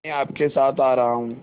मैं आपके साथ आ रहा हूँ